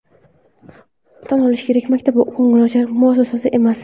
Tan olish kerak, maktab ko‘ngilochar muassasa emas.